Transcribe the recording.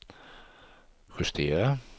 justera